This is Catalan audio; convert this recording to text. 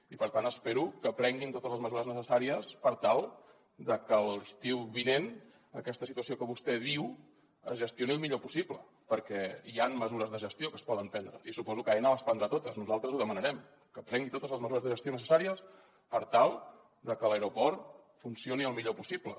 i per tant espero que prenguin totes les mesures necessàries per tal de que l’estiu vinent aquesta situació que vostè diu es gestioni el millor possible perquè hi han mesures de gestió que es poden prendre i suposo que aena les prendrà totes nosaltres ho demanarem que prengui totes les mesures de gestió necessàries per tal de que l’aeroport funcioni el millor possible